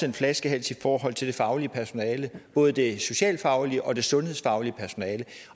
en flaskehals i forhold til det faglige personale både det socialfaglige og det sundhedsfaglige personale